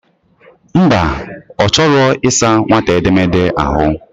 Mba, O chor isa nwata édeméèdẹ ahu.